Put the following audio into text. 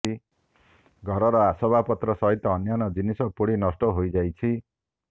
ଘରର ଆସବାବପତ୍ର ସହିତ ଅନ୍ୟାନ୍ୟ ଜିନିଷ ପୋଡ଼ି ନଷ୍ଟ ହୋଇଯାଇଛି